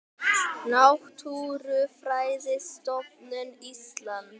Náttúrufræðistofnun Íslands.